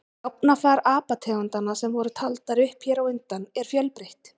Gáfnafar apategundanna sem voru taldar upp hér á undan er fjölbreytt.